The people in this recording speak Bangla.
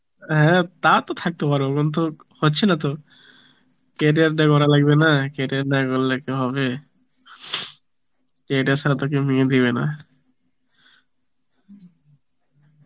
হ্যাঁ টা তো থাকতে পারব কিন্তু হচ্ছে না তো, career টা গড়তে লাগবে না, career না গরলে কি হবে? career ছাড়া তো কেউ মেয়ে দিবে না